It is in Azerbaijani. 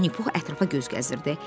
Vini Pux ətrafa göz gəzdirdi.